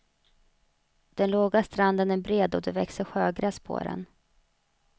Den låga stranden är bred och det växer sjögräs på den.